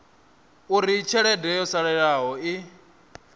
uri tshelede yo salelaho i